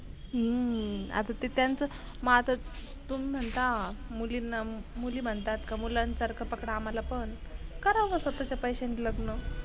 हम्म आता ते त्याचं माझ तुम्ही म्हणता मुलीना मुली म्हणतात कि मुलान सरक पकडा आम्हांला पण करा मग स्वताच्या पैशांनी लग्न.